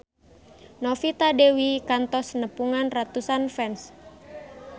Novita Dewi kantos nepungan ratusan fans